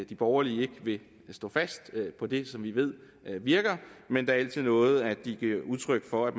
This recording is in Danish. de borgerlige ikke vil stå fast på det som vi ved virker men det er altid noget at de giver udtryk for at